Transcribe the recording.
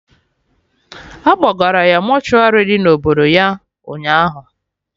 Akpọgara ya mortuary dị na obodo ya, ụnyaahụ